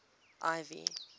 ivy